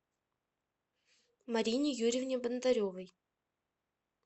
марине юрьевне бондаревой